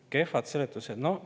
Kehvad seletused?